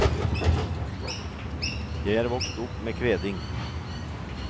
Jeg er vokst opp med kveding.